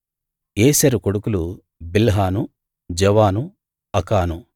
ఏసెరు కొడుకులు Bilhan Zaavan Akan